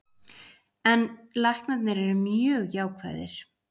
En læknarnir eru mjög jákvæðir.